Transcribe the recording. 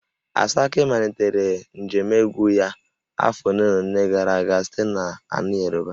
Asake malitere njem egwu ya afọ ole na ole gara aga site n'ala Yoruba